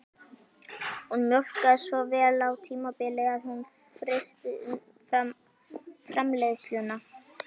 Hún mjólkaði svo vel á tímabili að hún frysti umfram-framleiðsluna